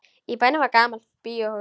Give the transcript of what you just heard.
Í bænum var gamalt bíóhús.